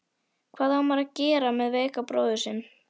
Hvað á maður að gera með veikan bróður sinn?